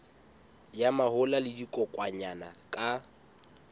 ya mahola le dikokwanyana ka